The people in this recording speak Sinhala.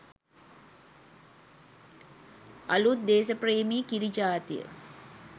අළුත් දේස ප්‍රේමී කිරි ජාතිය